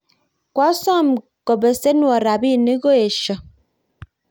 koasom kobesenwon robinik koesyo